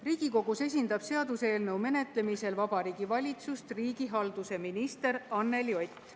Riigikogus esindab seaduseelnõu menetlemisel Vabariigi Valitsust riigihalduse minister Anneli Ott.